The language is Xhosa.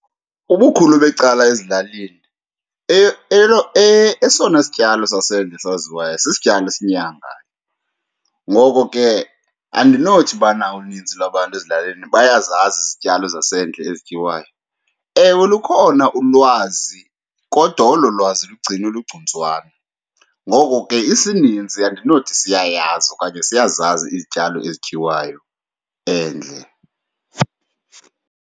Ubukhulu becala ezilalini esona sityalo sasendle esaziwayo sisityalo esinyangayo, ngoko ke andinothi ubana uninzi lwabantu ezilalini bayazazi izityalo zasendle ezityiwayo. Ewe, lukhona ulwazi kodwa olo lwazi lugcinwe ligcuntswana, ngoko ke isininzi andinothi siyayazi okanye siyazazi izityalo ezityiwayo endle.